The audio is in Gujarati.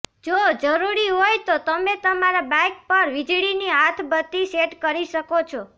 જો જરૂરી હોય તો તમે તમારા બાઇક પર વીજળીની હાથબત્તી સેટ કરી શકો છો